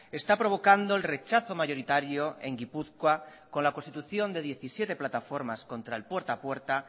está provocando el rechazo mayoritario en gipuzkoa con la constitución de diecisiete plataformas contra el puerta a puerta